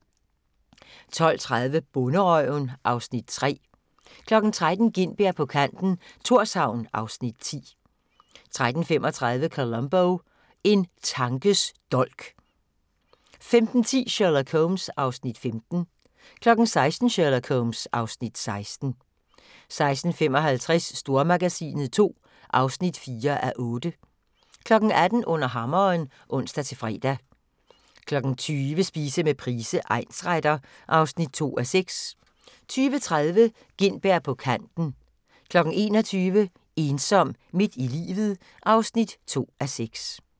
12:30: Bonderøven (Afs. 3) 13:00: Gintberg på kanten - Thorshavn (Afs. 10) 13:35: Columbo: En tankes dolk 15:10: Sherlock Holmes (Afs. 15) 16:00: Sherlock Holmes (Afs. 16) 16:55: Stormagasinet II (4:8) 18:00: Under Hammeren (ons-fre) 20:00: Spise med Price, egnsretter (2:6) 20:30: Gintberg på kanten 21:00: Ensom midt i livet (2:3)